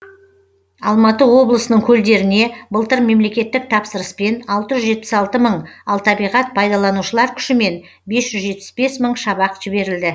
алматы облысының көлдеріне былтыр мемлекеттік тапсырыспен алты жүз жетпіс алты мың ал табиғат пайдаланушылар күшімен бес жүз жетпіс бес мың шабақ жіберілді